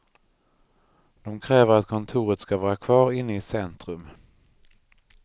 De kräver att kontoret ska vara kvar inne i centrum.